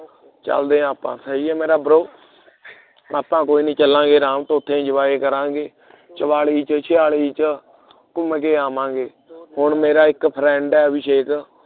ਚਲਦੇ ਆਪਾਂ ਹੈ ਯੇ ਮੇਰਾ bro ਆਪਾਂ ਕੋਈ ਨਹੀਂ ਚਲਾਂਗੇ ਰਾਮ ਤੋਂ ਉੱਠੇ enjoy ਕਰਾਂਗੇ ਚੁਵਾਲੀ ਚ ਛਿਆਲੀ ਚ ਘੁੰਮ ਕੇ ਆਵਾਂਗੇ ਹੁਣ ਮੇਰਾ ਇਕ friend ਹੈ ਅਬਿਸ਼ੇਕ